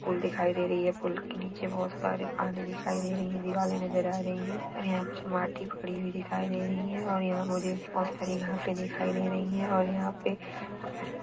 pool दिखाई दे रही है पूल के नीचे बहुत सारे पानी दिखाई दे रही है दिवाले नजर आ रही है और यहाँ पे कुछ माटी पडी हुई दिखाई दे रही है और यहाँ मुझे बहुत सारी घासे दिखाई दे रही है और यहाँ पे--